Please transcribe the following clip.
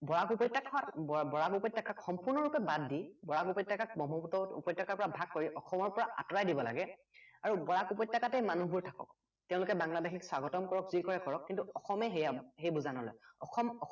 বৰাক উপত্য়কাখন বৰাক উপত্য়কাক সম্পূৰ্ণ ৰূপে বাদ দি বৰাক উপত্য়কাক ব্ৰক্ষ্মপুত্ৰ উপত্য়কাৰ পৰা ভাগ কৰি অসমৰ পৰা আঁতৰাই দিব লাগে আৰু বৰাক উপত্য়কাতে মানুহবোৰ থাকক তেওঁলোকে বাংলাদেশীক স্বাগতম কৰক যি কৰে কৰক কিন্তু অসমে সেইয়া সেই বুজা নলয় অসম